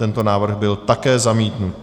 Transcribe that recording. Tento návrh byl také zamítnut.